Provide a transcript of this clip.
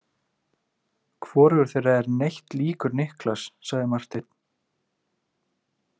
Hvorugur þeirra er neitt líkur Niklas, sagði Marteinn.